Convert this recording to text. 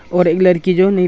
और एक लड़की जो नी--